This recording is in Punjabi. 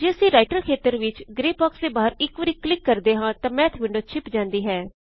ਜੇ ਅਸੀਂ ਰਾਇਟਰ ਖੇਤਰ ਵਿੱਚ ਗ੍ਰੇ ਬਾਕ੍ਸ ਦੇ ਬਾਹਰ ਇਕ ਵਾਰੀ ਕਲਿਕ ਕਰਦੇ ਹਾਂ ਤਾਂ ਮੈਥ ਵਿੰਡੋ ਛਿਪ ਜਾਂਦੀ ਹੈ